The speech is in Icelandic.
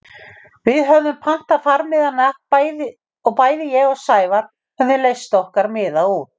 Við höfðum pantað farmiðana og bæði ég og Sævar höfðum leyst okkar miða út.